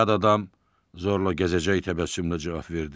Yad adam zorla gəzəcək təbəssümlə cavab verdi.